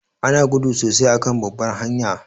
Ana gudu sosai a kan babbar hanya